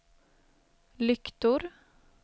lyktor